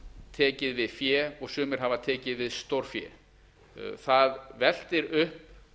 tekið við fé og sumir hafa tekið við stórfé það veltir upp